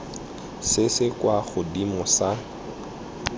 se se kwa godimo sa